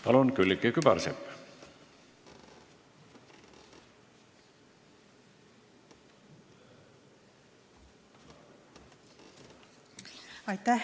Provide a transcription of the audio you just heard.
Palun, Külliki Kübarsepp!